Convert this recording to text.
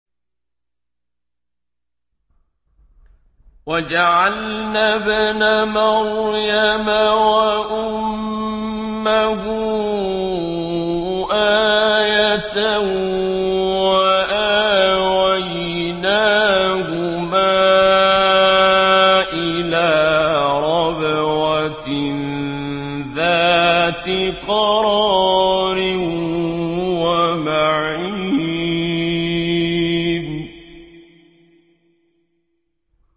وَجَعَلْنَا ابْنَ مَرْيَمَ وَأُمَّهُ آيَةً وَآوَيْنَاهُمَا إِلَىٰ رَبْوَةٍ ذَاتِ قَرَارٍ وَمَعِينٍ